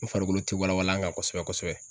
N farikolo tɛ walawala an ka kosɛbɛ kosɛbɛ.